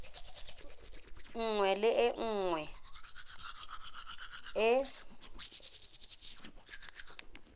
nngwe le e nngwe e